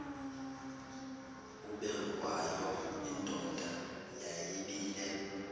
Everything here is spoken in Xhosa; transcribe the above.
ubengwayo indoda yayibile